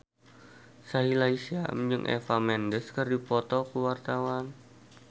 Sahila Hisyam jeung Eva Mendes keur dipoto ku wartawan